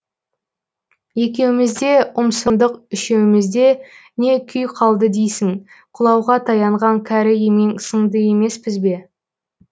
екеуімізде ұмсындық үшеуімізде не күй қалды дейсің құлауға таянған кәрі емен сынды емеспіз бе